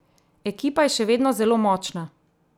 Ekipa je še vedno zelo močna!